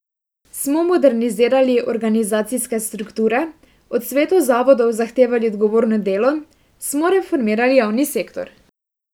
Smo modernizirali organizacijske strukture, od svetov zavodov zahtevali odgovorno delo, smo reformirali javni sektor?